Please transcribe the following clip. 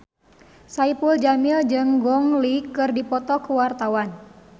Saipul Jamil jeung Gong Li keur dipoto ku wartawan